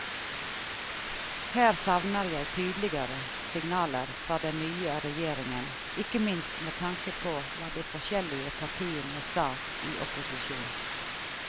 Her savner jeg tydeligere signaler fra den nye regjeringen, ikke minst med tanke på hva de forskjellige partiene sa i opposisjon.